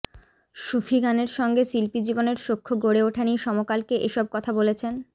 সুফি গানের সঙ্গে শিল্পীজীবনের সখ্য গড়ে ওঠা নিয়ে সমকালকে এসব কথা বলেছেন